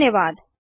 धन्यवाद